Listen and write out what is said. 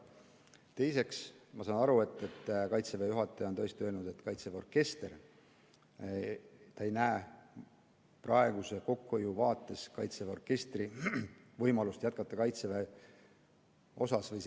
Teiseks, ma saan aru, et Kaitseväe juhataja on tõesti öelnud, et ta ei näe praeguse kokkuhoiu vaates võimalust, et Kaitseväe orkester jätkab Kaitseväe osana.